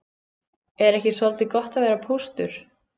Er ekki soldið gott að vera póstur?